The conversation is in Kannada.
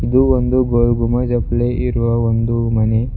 ಇದು ಒಂದು ಗೋಲಗುಂಬಜ್ ಅಪ್ಲೆ ಇರುವ ಒಂದು ಮನೆ.